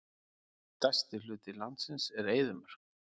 Stærsti hluti landsins er eyðimörk.